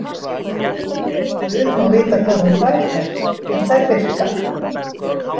Guð má vita hvar hún fær þær, en þær virka.